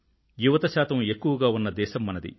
యువత శాతం ఎక్కువగా ఉన్న దేశం మనది